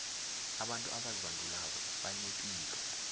abantu abazibandulako banepilo